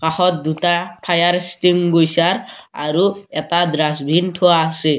কাষত দুটা fire extinguisher আৰু এটা দ্ৰষ্টবিন থোৱা আছে।